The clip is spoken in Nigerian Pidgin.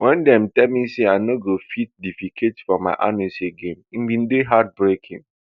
wen dem tell me say i no go dey fit defecate from my anus again e bin dey heart breaking